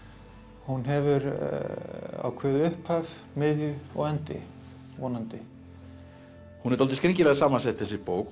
hún hefur ákveðið upphaf miðju og endi vonandi hún er dálítið skringilega samansett þessi bók